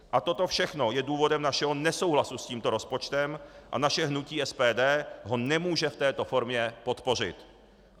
A toto všechno je důvodem našeho nesouhlasu s tímto rozpočtem a naše hnutí SPD ho nemůže v této formě podpořit.